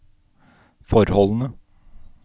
forholdene